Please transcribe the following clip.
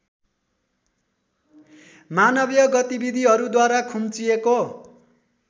मानवीय गतिविधिहरूद्वारा खुम्चिएको